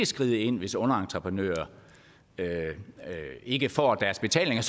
skride ind hvis underentreprenører ikke får deres betaling